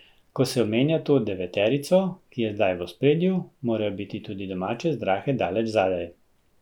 Ko se omenja to deveterico, ki je zdaj v ospredju, morajo biti tudi domače zdrahe daleč zadaj.